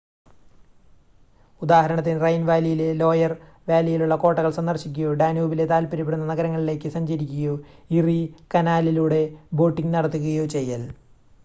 ഉദാഹരണത്തിന് റൈൻ വാലിയിലെ ലോയർ വാലിയിലുള്ള കോട്ടകൾ സന്ദർശിക്കുകയോ ഡാനൂബിലെ താൽപ്പര്യപ്പെടുന്ന നഗരങ്ങളിലേക്ക് സഞ്ചരിക്കുകയോ ഇറി കനാലിലൂടെ ബോട്ടിംഗ് നടത്തുകയോ ചെയ്യൽ